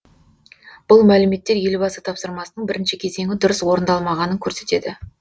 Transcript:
бұл мәліметтер елбасы тапсырмасының бірінші кезеңі дұрыс орындалмағанын көрсетеді